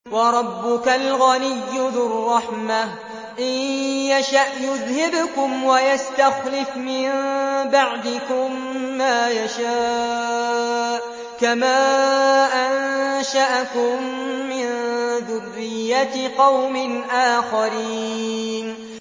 وَرَبُّكَ الْغَنِيُّ ذُو الرَّحْمَةِ ۚ إِن يَشَأْ يُذْهِبْكُمْ وَيَسْتَخْلِفْ مِن بَعْدِكُم مَّا يَشَاءُ كَمَا أَنشَأَكُم مِّن ذُرِّيَّةِ قَوْمٍ آخَرِينَ